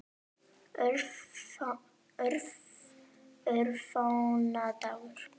Örfáa daga.